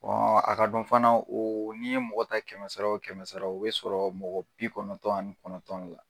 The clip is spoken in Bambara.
a ka dɔn fana oo n'i ye mɔgɔ ta kɛmɛ sara o kɛmɛ sara o be sɔrɔ mɔgɔ bi kɔnɔntɔn ani kɔnɔntɔn de la.